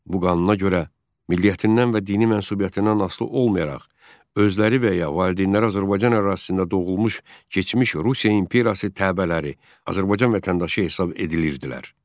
Bu qanuna görə milliyyətindən və dini mənsubiyyətindən asılı olmayaraq özləri və ya valideynləri Azərbaycan ərazisində doğulmuş keçmiş Rusiya imperiyası təbəələri Azərbaycan vətəndaşı hesab edilirdilər.